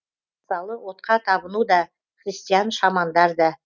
мысалы отқа табыну да христиан шамандар да